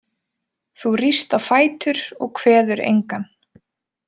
Þú ríst á fætur og kveður engan.